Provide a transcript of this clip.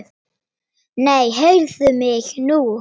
Nei, heyrðu mig nú!